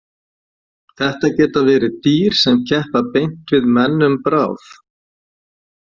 Þetta geta verið dýr sem keppa beint við menn um bráð.